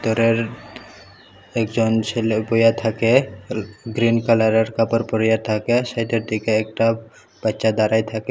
ঘরের একজন ছেলে বইয়া থাকে গ্রীন কালারের কাপড় পরিয়া থাকে সেইটা থেকে একটা বাচ্চা দাঁড়ায় থাকে।